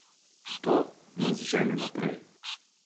To nas žene naprej.